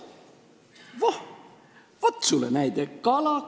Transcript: Voh, vot sulle näide!